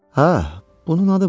Hə, bunun adı var.